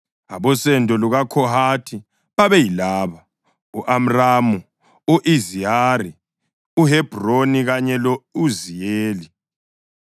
Abosendo lukaKhohathi babeyilaba: u-Amramu, u-Izihari, uHebhroni kanye lo-Uziyeli.